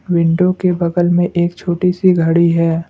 Window के बगल में एक छोटी सी घड़ी है।